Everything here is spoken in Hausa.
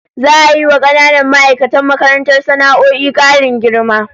Za'a yi wa kananan ma'aikatan makarantar sana'o'in karin girma